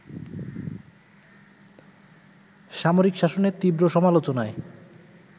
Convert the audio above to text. সামরিক শাসনের তীব্র সমালোচনায়